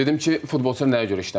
Dedim ki, futbolçular nəyə görə işləmir?